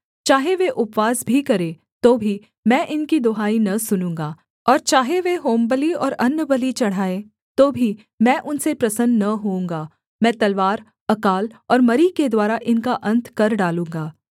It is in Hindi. चाहे वे उपवास भी करें तो भी मैं इनकी दुहाई न सुनूँगा और चाहे वे होमबलि और अन्नबलि चढ़ाएँ तो भी मैं उनसे प्रसन्न न होऊँगा मैं तलवार अकाल और मरी के द्वारा इनका अन्त कर डालूँगा